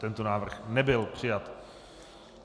Tento návrh nebyl přijat.